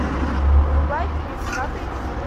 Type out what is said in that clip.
врубай фильм правда или действие